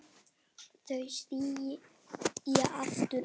Þau sitja aftur í.